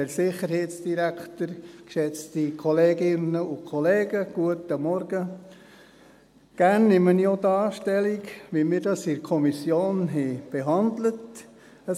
der SiK. Gerne nehme ich auch hier Stellung, wie wir das in der Kommission behandelt haben.